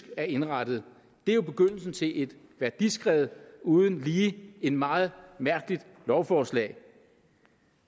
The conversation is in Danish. er indrettet det er jo begyndelsen til et værdiskred uden lige det et meget mærkeligt lovforslag